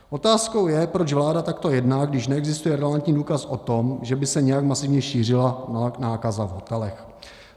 Otázkou je, proč vláda takto jedná, když neexistuje relevantní důkaz o tom, že by se nějak masivně šířila nákaza v hotelech.